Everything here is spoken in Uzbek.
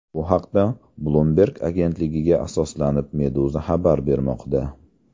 Bu haqda, Bloomberg agentligiga asoslanib, Meduza xabar bermoqda .